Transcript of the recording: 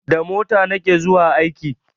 Da mota na ke zuwa aiki